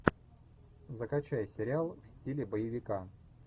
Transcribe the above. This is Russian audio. закачай сериал в стиле боевика